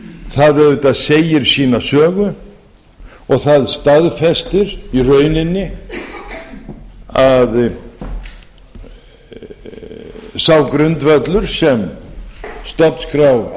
það segir auðvitað sína sögu og það staðfestir í rauninni að sá grundvöllur sem stofnskrá